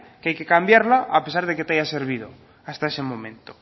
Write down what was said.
que hay que cambiarla a pesar de que te haya servido hasta ese momento